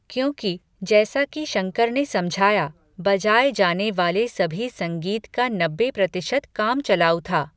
क्योंकि, जैसा कि शंकर ने समझाया, बजाये जाने वाले सभी संगीत का नब्बे प्रतिशत कामचलाऊ था।